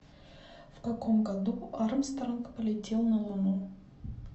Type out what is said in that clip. в каком году армстронг полетел на луну